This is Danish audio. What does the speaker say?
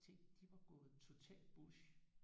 Tænk de var gået totalt bush